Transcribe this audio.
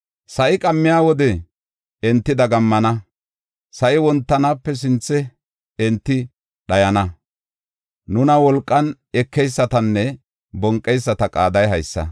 Sa7i qammiya wode enti dagammana; sa7i wontanaape sinthe enti dhayana. Nuna wolqan ekeysatanne bonqeyisata qaaday haysa.